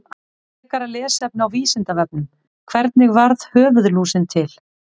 Frekara lesefni á Vísindavefnum: Hvernig varð höfuðlúsin til?